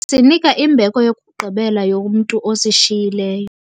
Besinika imbeko yokugqibela yomntu osishiyileyo.